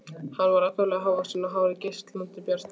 Hann var ákaflega hávaxinn og hárið geislandi bjart.